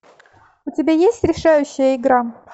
у тебя есть решающая игра